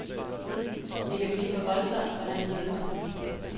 Det kan blive for voldsomt for hans vedkommende.